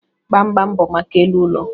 Gbamgbam bụ maka elu ụlọ